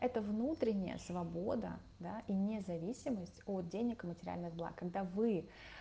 это внутренняя свобода да и независимость от денег и материальных благ когда вы